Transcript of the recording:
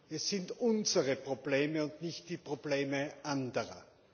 Es sind unsere Probleme und nicht die Probleme anderer.